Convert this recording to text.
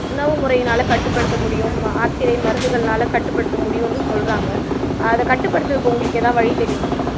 உணவு முறையினால கட்டுப்படுத்த முடியும் மாத்திரை மருந்துகள்னால கட்டுப்படுத்த முடியும்னு சொல்றாங்க அத கட்டுப்படுத்துறதுக்கு உங்களுக்கு ஏதாவது வழி தெரியுமா